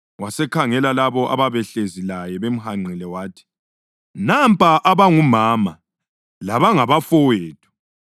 Wasekhangela labo ababehlezi laye bemhanqile wathi, “Nampa abangumama labangabafowethu!